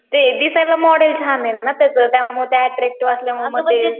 ते दिसायला मॉडेल छान ना त्याच त्यामुळं ते अट्रक्टिव्ह असल्यामुळं मग ते